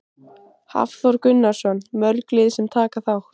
Hafþór Gunnarsson: Mörg lið sem taka þátt?